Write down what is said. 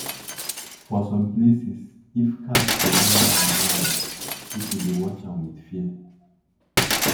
for some places if cat dey run round-round people dey watch am with fear.